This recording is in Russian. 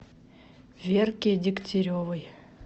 верке дегтяревой